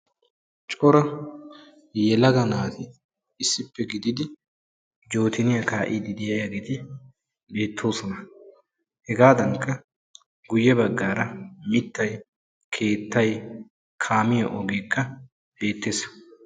Cora yelaga naati issippe gididi jootiniya kaa'iiddi de'iyageeti beettoosona. Hegaadankka guyye baggaara mittay, keettay kaamiya ogeekka beettees.